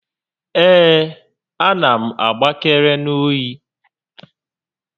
Ee, a na m agbakere n'oyi